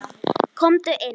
Komdu inn